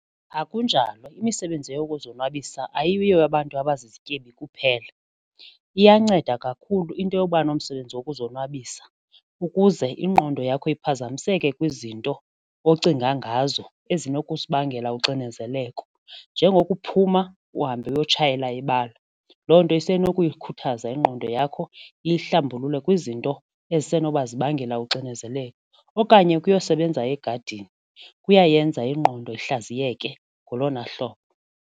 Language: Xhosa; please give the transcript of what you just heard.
Akunjalo, imisebenzi yokuzonwabisa ayiyo yabantu abazizityebi kuphela, iyanceda kakhulu into yoba nomsebenzi wokuzonwabisa ukuze ingqondo yakho iphazamiseke kwizinto ocinga ngazo ezinozikubangela uxinezeleko njengokuphuma uhambe uyotshayela ibala, loo nto zisenokuyikhuthaza ingqondo yakho iyihlambulule kwizinto ezisenokuba zibangela uxinezeleko okanye ukuyosebenza egadini kuyayenza ingqondo ihlaziyeke ngolona hlobo.